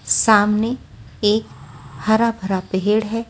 सामनेएक हरा भरा पेहड़ है।